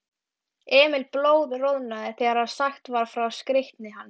Emil blóðroðnaði þegar sagt var frá skreytni hans.